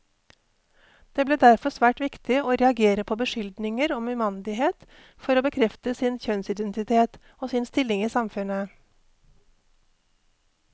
Det ble derfor svært viktig å reagere på beskyldninger om umandighet for å bekrefte sin kjønnsidentitet, og sin stilling i samfunnet.